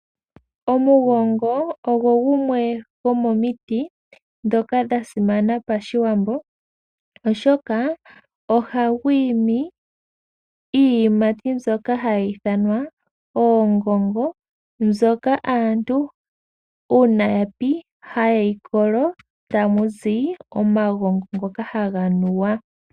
Omugongo ogo gumwe gomomiti ndhoka dha simana Pashiwambo, oshoka ohagu imi iiyimati mbyoka hayi ithanwa oongongo, mbyoka aantu uuna ya pi haye yi kolo, tamu zi omagongo ngoka haga nuwa.